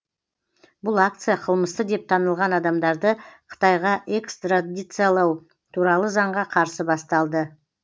бұл акция қылмысты деп танылған адамдарды қытайға экстрадициялау туралы заңға қарсы басталды